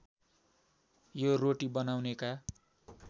यो रोटी बनाउनेका